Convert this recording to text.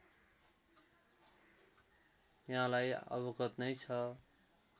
यहाँलाई अवगत नै छ